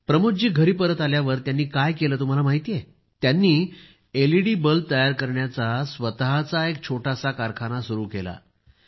प्रमोद जी घरी परत आल्यावर त्यांनी काय केले हे तुम्हाला माहित आहे का त्यांनी एलईडी बल्ब तयार करण्याचा स्वतःचा एक छोटासा कारखाना सुरु केला